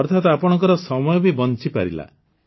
ଅର୍ଥାତ୍ ଆପଣଙ୍କର ସମୟ ବି ନଷ୍ଟ ହୋଇନଥାନ୍ତା